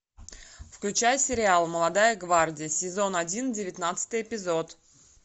включай сериал молодая гвардия сезон один девятнадцатый эпизод